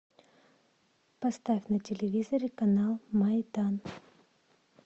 поставь на телевизоре канал майдан